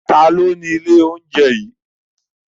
Ta ni ó ni ilé-oúnjẹ yìí?